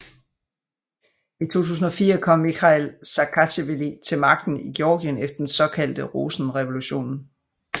I 2004 kom Mikhail Saakasjvili til magten i Georgien efter den såkaldte Rosenrevolutionen